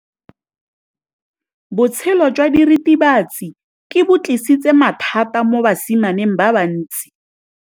Botshelo jwa diritibatsi ke bo tlisitse mathata mo basimaneng ba bantsi.